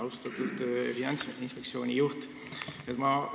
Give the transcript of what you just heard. Austatud Finantsinspektsiooni juht!